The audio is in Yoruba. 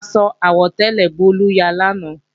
Aṣọ àwọ̀tẹ́lẹ̀ Bólú ya lánàá